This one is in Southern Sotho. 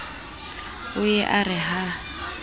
o ye a re ha